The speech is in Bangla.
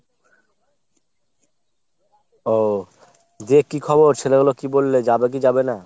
ও দিয়ে কী খবর ছেলেগুলো কী বললে যাবে কি যাবে না ?